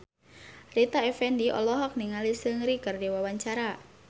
Rita Effendy olohok ningali Seungri keur diwawancara